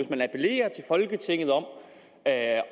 man appellerer til folketinget om at